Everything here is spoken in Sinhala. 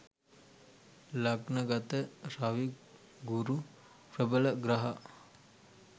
ලග්න ගත රවි ගුරු ප්‍රබල ග්‍රහ